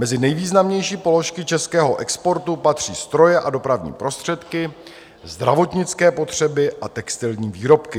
Mezi nejvýznamnější položky českého exportu patří stroje a dopravní prostředky, zdravotnické potřeby a textilní výrobky.